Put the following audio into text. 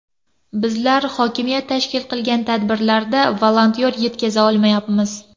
Bizlar hokimiyat tashkil qilgan tadbirlarda volontyor yetkiza olmayapmiz.